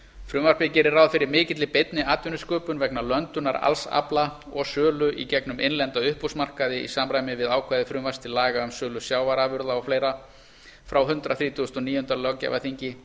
frumvarpið gerir ráð fyrir mikilli beinni atvinnusköpun vegna löndunar alls afla og sölu í gegnum innlenda uppboðsmarkaði í samræmi við ákvæði frumvarps til laga um sölu sjávarafla og fleira frá hundrað þrítugasta og níunda löggjafarþingi